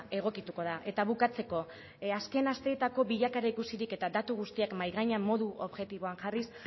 egokituko da eta bukatzeko azken asteetako bilakaera ikusirik eta datu guztiak mahai gainean modu objektiboan jarriz